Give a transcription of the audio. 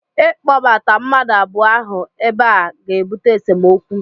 ịkpọbata mmadụ abụọ ahụ ebe a ga-ebute esemokwu